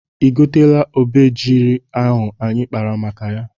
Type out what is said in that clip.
I goteela obejiri ahụ anyị kpara maka ya?